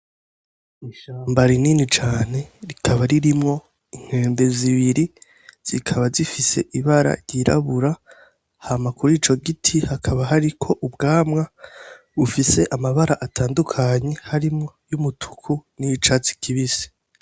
Ishamba rinini cane, rikaba ririmwo inkende zibiri zikaba zifise ibara ry'irabura, hama kurico giti hakaba hariko ubwamwa bufise amabara atandukanye harimwo umutuku n'icatsi kibisi.